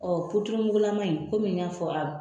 Ɔn mugulaman in n y'a fɔ a